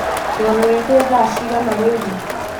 turorete thaa cĩĩgana riu